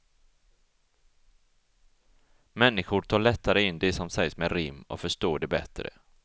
Människor tar lättare in det som sägs med rim och förstår det bättre.